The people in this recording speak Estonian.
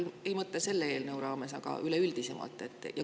Ma ei mõtle selle eelnõu raames, aga üldisemalt.